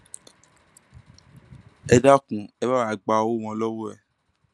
ẹ dákun ẹ bá wá gba owó wọn lọwọ ẹ